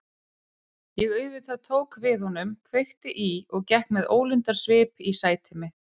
Ég tók auðvitað við honum, kveikti í og gekk með ólundarsvip í sæti mitt.